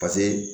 Paseke